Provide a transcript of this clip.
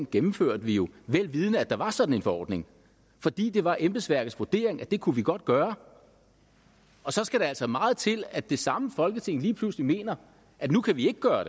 gennemførte vi jo vel vidende at der var sådan en forordning fordi det var embedsværkets vurdering at det kunne vi godt gøre og så skal der altså meget til at det samme folketing lige pludselig mener at nu kan vi ikke gøre